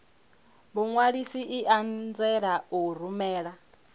muṅwalisi i anzela u rumela